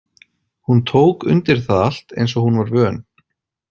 Hún tók undir það allt eins og hún var vön.